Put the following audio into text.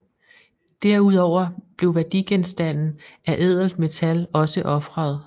Derudover blev værdigenstande af ædelt metal også ofret